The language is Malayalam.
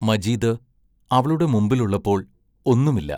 മജീദ് അവളുടെ മുമ്പിലുള്ളപ്പോൾ ഒന്നുമില്ല.